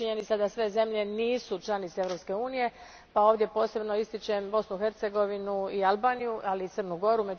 Činjenica je da sve zemlje nisu članice Europske Unije, ovdje posebno ističem Bosnu i Hercegovinu i Albaniju, ali i Crnu Goru.